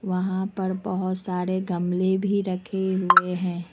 वहां पर बहोत सारे गमले भी रखे हुए हैं।